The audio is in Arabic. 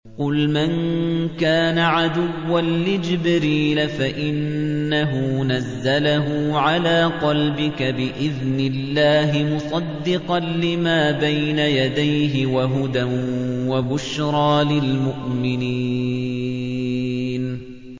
قُلْ مَن كَانَ عَدُوًّا لِّجِبْرِيلَ فَإِنَّهُ نَزَّلَهُ عَلَىٰ قَلْبِكَ بِإِذْنِ اللَّهِ مُصَدِّقًا لِّمَا بَيْنَ يَدَيْهِ وَهُدًى وَبُشْرَىٰ لِلْمُؤْمِنِينَ